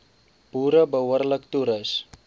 boere behoorlik toerus